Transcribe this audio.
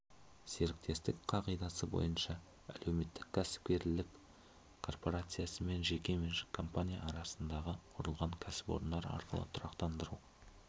серіктестік қағидасы бойынша әлеуметтік кәсіпкерлік корпорациясы мен жеке меншік компания арасындағы құрылған кәсіпорындар арқылы тұрақтандыру